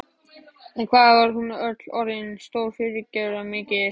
En hvað hún var öll orðin stór og fyrirferðarmikil.